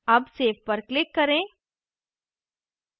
अब save पर click करें